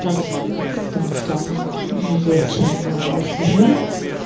также как и ты потому что есть у меня зажим